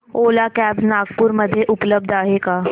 ओला cabs Nagpur मध्ये उपलब्ध आहे का